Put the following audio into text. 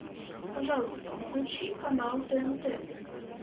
пожалуйста включи канал тнт